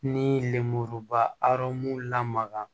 Ni lemuruba arɔmu lamaga